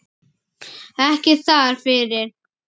Ekki þar fyrir.